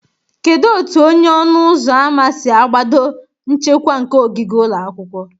Kedu otu onye ọnụ ụzọ ámá si agbado nchekwa nke ogige ụlọ akwụkwọ?